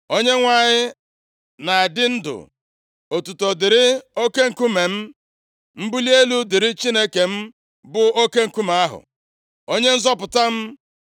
“ Onyenwe anyị na-adị ndụ. Otuto dịrị oke nkume m. Mbuli elu dịrị Chineke m, bụ oke nkume ahụ, Onye nzọpụta m.